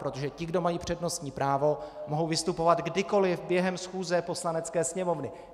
Protože ti, kdo mají přednostní právo, mohou vystupovat kdykoli během schůze Poslanecké sněmovny.